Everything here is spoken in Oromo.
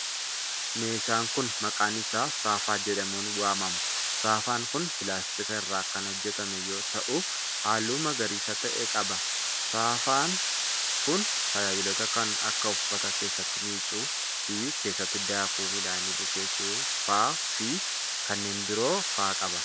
Meeshaan kun, maqaan isaa saafaa jedhamuun waamama. Saafaan kun pilaastika irraa kan hojjatame yoo ta'u, haalluu magariisa ta'e qaba. Saafuun kun tajaajiloota kan akka:uffata keeessatti miiccuu fi keessatti daakuu midhaanii bukeessuu faa fi kanneen biroo faa qaba.